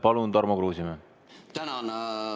Palun, Tarmo Kruusimäe!